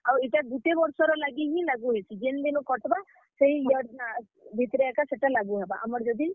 ଆଉ ଇଟା ଗୁଟେ ବର୍ଷର ଲାଗି ହି ଲାଗୁ ହେସି, ଜେନ୍ ଦିନୁ କଟ୍ ବା, ସେହି year , ଭିତ୍ ରେ ଏକା ସେଟା ଲାଗୁହେବା, ଆମର୍ ଯଦି।